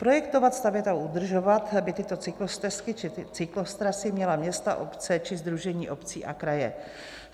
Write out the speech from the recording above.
Projektovat, stavět a udržovat by tyto cyklostezky či cyklotrasy měla města, obce či sdružení obcí a kraje.